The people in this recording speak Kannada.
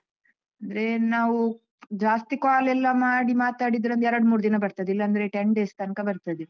ಅಂದ್ರೆ ನಾವು ಜಾಸ್ತಿ call ಎಲ್ಲ ಮಾಡಿ ಮಾತಾಡಿದ್ರೆ ಒಂದ್ ಎರಡ್ ಮೂರ್ ದಿನ ಬರ್ತದೆ ಇಲ್ಲಾಂದ್ರೆ ten days ತನ್ಕ ಬರ್ತದೆ.